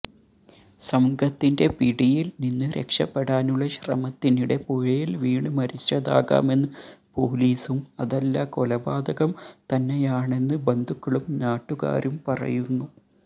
സംഘത്തിന്റെ പിടിയല് നിന്ന് രക്ഷപ്പെടാനുള്ള ശ്രമത്തിനിടെ പുഴയില് വീണ് മരിച്ചതാകാമെന്ന് പോലീസും അതല്ല കൊലപാതകം തന്നെയാണെന്ന് ബന്ധുക്കളും നാട്ടുകാരും പറയുന്നു